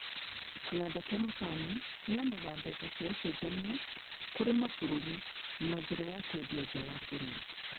Kĩganda gia macani kĩheanaga mbeca cia ũcenjania kũrĩ mabũrũri na njĩra ya kwendia nja wa bũrũri